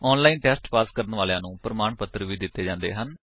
online test pass ਕਰਨ ਵਾਲਿਆਂ ਨੂੰ ਪ੍ਰਮਾਣ ਪੱਤਰ ਵੀ ਦਿੰਦੇ ਹਨ